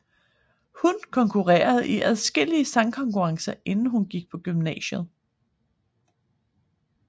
Hun konkurrerede i adskillige sangkonkurrencer inden hun gik på gymnasiet